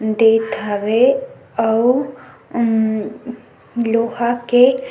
देत हवे आउ लोहा के --